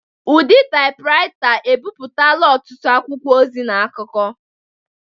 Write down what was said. Ụdị taipuraita ebipụtala ọtụtụ akwụkwọ ozi na akụkọ.